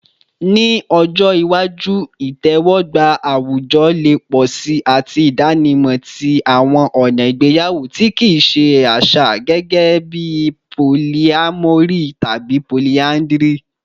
Ni ọjọ iwaju, itẹwọgba awujọ le pọ si ati idanimọ ti awọn ọna igbeyawo ti kii ṣe aṣa, gẹgẹbi polyamory tabi polyandry